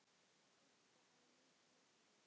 Hvort hann nennti.